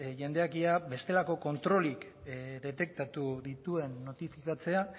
jendeak ea bestelako kontrolik detektatu dituen notifikatzea